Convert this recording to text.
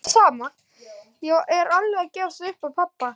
Ég er alveg að gefast upp á pabba.